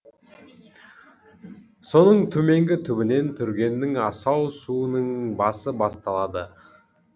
соның төменгі түбінен түргеннің асау суының басы басталады